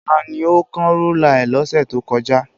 Tani ó kán rúlà ẹ lọ́sẹ̀ tó kọjá?